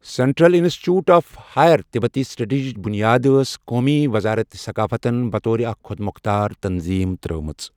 Central institute of higher تبتی سٹڈیٖزٕچ بُنیاد ٲس قومی وزارت ثقافتن بطور اكھ خۄد مۄختار تنطیٖم ترٛٲومٕژ۔